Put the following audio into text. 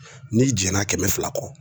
N'i jɛna kɛmɛ fila kɔ